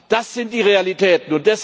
Das sind die Realitäten.